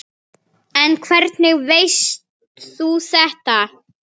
En hvernig veist þú þetta?